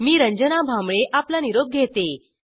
मी रंजना भांबळे आपला निरोप घेते